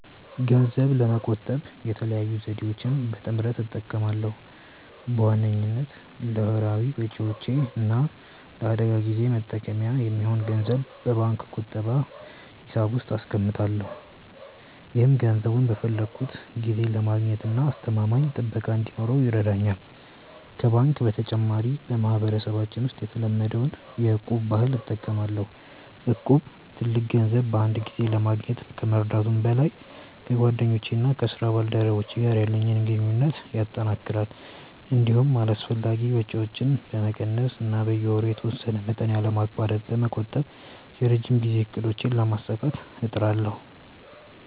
ገንዘብ ለመቆጠብ የተለያዩ ዘዴዎችን በጥምረት እጠቀማለሁ። በዋነኝነት ለወርሃዊ ወጪዎቼ እና ለአደጋ ጊዜ መጠባበቂያ የሚሆን ገንዘብ በባንክ ቁጠባ ሂሳብ ውስጥ አስቀምጣለሁ። ይህም ገንዘቡን በፈለግኩት ጊዜ ለማግኘትና አስተማማኝ ጥበቃ እንዲኖረው ይረዳኛል። ከባንክ በተጨማሪ፣ በማህበረሰባችን ውስጥ የተለመደውን የ'እቁብ' ባህል እጠቀማለሁ። እቁብ ትልቅ ገንዘብ በአንድ ጊዜ ለማግኘት ከመርዳቱም በላይ፣ ከጓደኞቼና ከስራ ባልደረቦቼ ጋር ያለኝን ግንኙነት ያጠናክራል። እንዲሁም አላስፈላጊ ወጪዎችን በመቀነስ እና በየወሩ የተወሰነ መጠን ያለማቋረጥ በመቆጠብ የረጅም ጊዜ እቅዶቼን ለማሳካት እጥራለሁ።